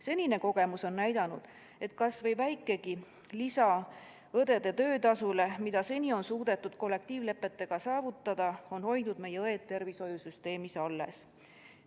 Senine kogemus on näidanud, et kas või väikegi lisa õdede töötasule, mida seni on suudetud kollektiivlepetega saavutada, on hoidnud meie õed tervishoiusüsteemis alles.